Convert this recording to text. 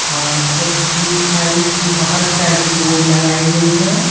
और एसबीआई की बहुत सारी बोर्ड लगाई गई है।